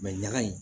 ɲaga in